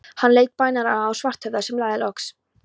Hann leit bænaraugum á Svarthöfða, sem sagði loks